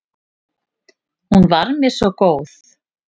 Hún var mér svo góð.